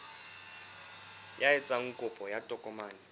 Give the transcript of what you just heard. ya etsang kopo ya tokomane